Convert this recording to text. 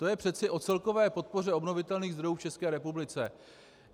To je přece o celkové podpoře obnovitelných zdrojů v České republice.